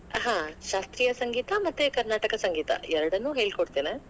ಹಾ ಶಾಸ್ತ್ರೀಯ ಸಂಗೀತ ಮತ್ತೆ ಕರ್ನಾಟಕ ಸಂಗೀತ ಎರಡನ್ನೂ ಹೇಳಿ ಕೊಡ್ತೇನೆ.